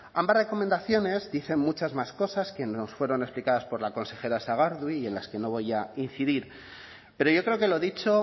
ambas recomendaciones dicen muchas más cosas que nos fueron explicadas por la consejera sagardui y en las que no voy a incidir pero yo creo que lo dicho